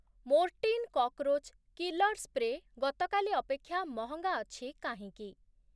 Mortein cockroach killer spray ଗତକାଲି ଅପେକ୍ଷା ମହଙ୍ଗା ଅଛି କାହିଁକି?